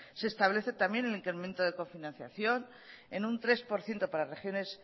se establece también el incremento de cofinanciación en un tres por ciento para regiones